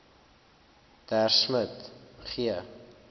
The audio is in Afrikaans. der smit g